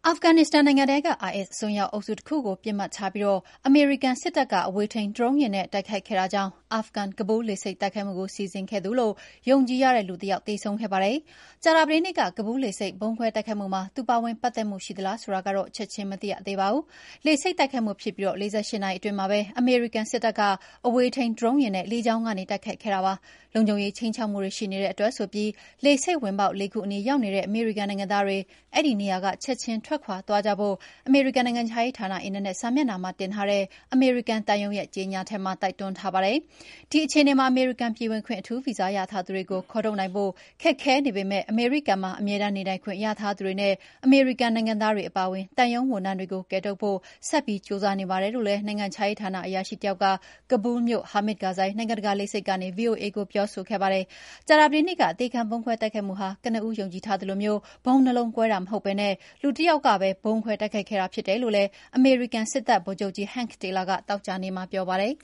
ာဖဂန်နစ္စတန်နိုင်ငံထဲက IS အစွန်းရောက်အုပ်စုတခုကို ပစ်မှတ်ထားပြီး အမေရိကန်စစ်တပ်က အဝေးထိန်းဒရုန်းယာဉ်နဲ့ တိုက်ခိုက်ခဲ့တာကြောင့် အာဖဂန်-ကာဘူးလ်လေဆိပ်တိုက်ခိုက်မှုကို စီစဉ်ခဲ့သူလို့ ယုံကြည်ရတဲ့ လူတယောက် သေဆုံးခဲ့ပါတယ်။ ကြာသတေးနေ့က ကာဘူးလ်လေဆိပ် ဗုံးခွဲတိုက်ခိုက်မှုမှာ သူ ပါဝင်ပတ်သက်မှု ရှိသလားဆိုတာကတော့ ချက်ချင်းမသိရသေးပါဘူး။ လေဆိပ်တိုက်ခိုက်မှုဖြစ်ပြီး ၄၈ နာရီအတွင်းမှာပဲ အမေရိကန်စစ်တပ်က အဝေးထိန်း ဒရုန်းယာဉ်နဲ့ လေကြောင်းကနေ တိုက်ခိုက်ခဲ့တာဖြစ်ပါတယ်။ လုံခြုံရေးခြိမ်းခြောက်မှုတွေ ရှိနေတဲ့အတွက် လေဆိပ်ဝင်ပေါက် ၄ ခုအနီးရောက်နေတဲ့ အမေရိကန်နိုင်ငံသားတွေ အဲဒီနေရာက ချက်ချင်းထွက်ခွာသွားကြဖို့ အမေရိကန်နိုင်ငံခြားရေးဌာန အင်တာနက်စာမျက်နှာမှာတင်ထားတဲ့ အမေရိကန်သံရုံးရဲ့ ကြေငြာချက်မှာ တိုက်တွန်းထားပါတယ်။ ဒီအခြေအနေမှာ အမေရိကန်ပြည်ဝင်ခွင့် အထူးဗီဇာရထားသူတွေကို ခေါ်ထုတ်နိုင်ဖို့ ခက်ခဲနေပေမယ့် အမေရိကန်မှာ အမြဲတမ်းနေထိုင်ခွင့်ရထားသူတွေနဲ့ အမေရိကန်နိုင်ငံသားတွေအပါအဝင် သံရုံးဝန်ထမ်းတွေကို ကယ်ထုတ်ဖို့ ဆက်ပြီးကြိုးစားနေပါတယ်လို့လည်း နိုင်ငံခြားရေးဌာန အရာရှိတယောက်က ကာဘူလ်းမြို့ Hamid Karzai နိုင်ငံတကာလေဆိပ်ကနေ ဗွီအိုအေကို ပြောဆိုခဲ့ပါတယ်။ ကြာသတေးနေ့က အသေခံဗုံးခွဲတိုက်ခိုက်မှုဟာ ကနဦးယုံကြည်ထားသလို ဗုံးနှစ်လုံးကွဲတာမဟုတ်ဘဲ လူတယောက်တည်းကပဲ ဗုံးခွဲ တိုက်ခိုက်ခဲ့တာဖြစ်တယ်လို့လည်း အမေရိကန်စစ်တပ်ဗိုလ်ချုပ်ကြီး Hank Taylor က သောကြာနေ့မှာပြောပါတယ်